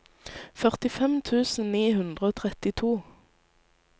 førtifem tusen ni hundre og trettito